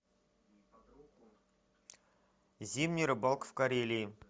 зимняя рыбалка в карелии